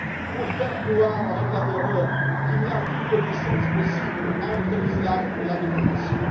Pour faire croire, avec la terreur, qu'il n'y a aucune coexistence possible entre l'islam et la démocratie.